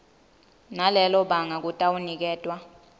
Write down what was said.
nalelo banga kutawuniketwa